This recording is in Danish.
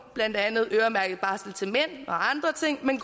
blandt andet øremærket barsel til mænd og andre ting men